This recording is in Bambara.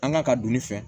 An kan ka don ne fɛ